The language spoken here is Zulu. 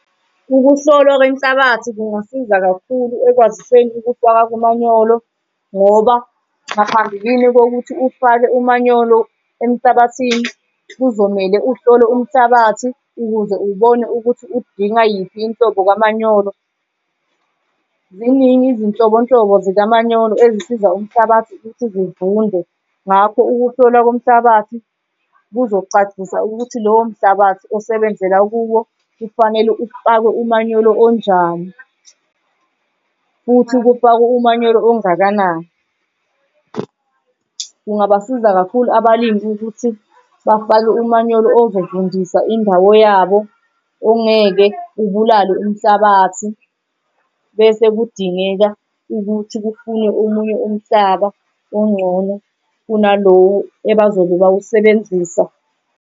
Ukuhlolwa kwenhlabathi kungasiza kakhulu ekwaziseni ukufaka komanyolo ngoba ngaphambilini kokuthi ufake umanyolo emhlabathini, kuzomele uhlole umhlabathi ukuze ubone ukuthi udinga yiphi inhlombo kamanyolo. Ziningi izinhlobonhlobo zikamanyolo ezisiza umhlabathi ukuthi zivunde. Ngakho ukuhlolwa komhlabathi kuzocacisa ukuthi lowo mhlabathi osebenzela kuwo kufanele ufakwe umanyolo onjani futhi kufakwe umanyolo ongakanani. Kungabasiza kakhulu abalimi ukuthi bafake umanyolo ozovundisa indawo yabo, ongeke ubulale umhlabathi bese kudingeka ukuthi kufunwe omunye umhlaba ongcono kunalowo abazobe bawusebenzisa.